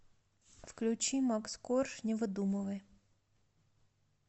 включи макс корж не выдумывай